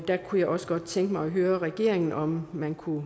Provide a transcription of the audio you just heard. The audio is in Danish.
der kunne jeg også godt tænke mig at høre regeringen om man kunne